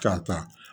K'a ta